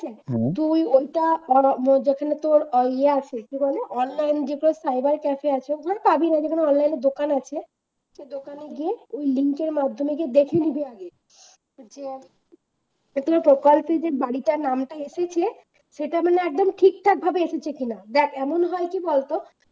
সাবিরের ওখানে online এর দোকান আছে ওই দোকানে গিয়ে link এর মাধ্যমে দেখে নিবি আগে যে প্রকল্পে যে বাড়িটার নামটা এসেছে সেটা মানে একদম ঠিক ঠাক ভাবে এসেছে কিনা দেখ এমনও হয় কি বলতো